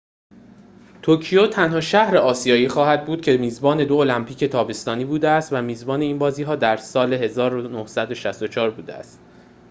توکیو تنها شهر آسیایی خواهد بود که میزبان دو المپیک تابستانی بوده است و میزبان این بازی‌ها در ۱۹۶۴ بوده است